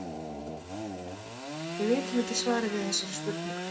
Við vitum ekki svarið við þessari spurningu.